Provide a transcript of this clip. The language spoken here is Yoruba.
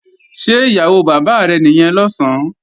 Ṣé ìyàwó bàbá rẹ̀ nìyẹn lọ̀sán?